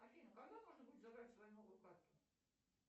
афина когда можно будет забрать свою новую карту